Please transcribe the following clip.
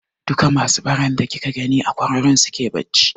Duka masu baran da kika gani a kwararon suke bacci.